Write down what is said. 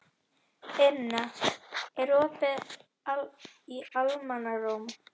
Inna, er opið í Almannaróm?